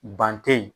Ban te yen